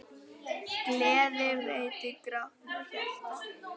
Gleði veitir grátnu hjarta.